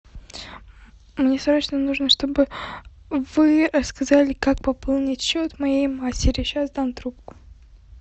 мне срочно нужно чтобы вы рассказали как пополнить счет моей матери сейчас дам трубку